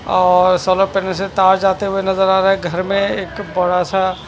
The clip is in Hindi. अ तार जाते हुए नजर आ रहे है घर मे एक बड़ा सा--